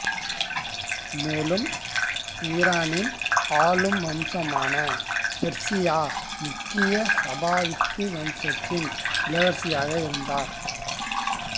மேலும் ஈரானின் ஆளும் வம்சமான பெர்சியா முக்கிய சபாவித்து வம்சத்தின் இளவரசியாக இருந்தார்